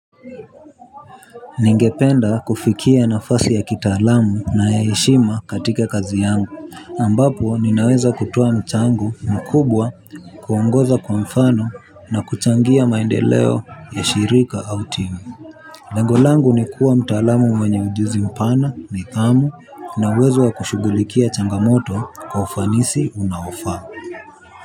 Ningependa kufikia nafasi ya kitaalamu na ya heshima katika kazi yangu ambapo ninaweza kutoa mchango mkubwa kuongoza kwa mfano na kuchangia maendeleo ya shirika au timu lengo langu ni kuwa mtaalamu mwenye ujuzi mpana nidhamu na uwezo wa kushugulikia changamoto kwa ufanisi unaofaa.